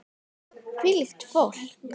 Hvílíkt fólk!